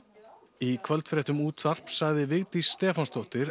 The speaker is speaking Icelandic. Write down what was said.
í kvöldfréttum útvarps sagði Vigdís Stefánsdóttir